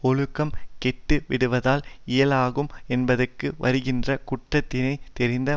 ஒழுக்கம் கேட்டுவிடுவதால் இழிகுலமாகும் என்பதாக வருகின்ற குற்றத்தினைத் தெரிந்த